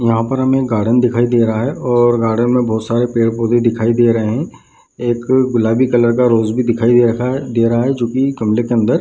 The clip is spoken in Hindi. यहाँ पर हमें गार्डन दिखाई दे रहा है और गार्डन में बहोत सारे पेड़-पौधे दिखाई दे रहे हैं एक गुलाबी कलर का रोज भी दिखाई दे रखा है दे रहा है जो की गमले के अन्दर --